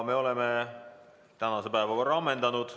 Me oleme tänase päevakorra ammendanud.